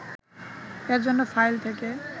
এজন্য File থেকে